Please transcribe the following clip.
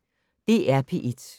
DR P1